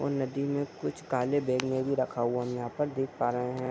और नदी में कुछ काले बैग में भी रखा हुआ है यहाँ पे देख पा रहे हैं।